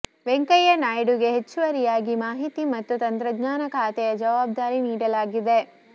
ವೆಂಕಯ್ಯ ನಾಯ್ಡುಗೆ ಹೆಚ್ಚುವರಿಯಾಗಿ ಮಾಹಿತಿ ಮತ್ತು ತಂತ್ರಜ್ಞಾನ ಖಾತೆಯ ಜವಾಬ್ದಾರಿ ನೀಡಲಾಗಿದೆ